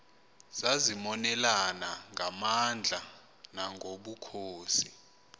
zazimonelana ngamandla nangobukhosi